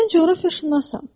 Mən coğrafiyaşünasam.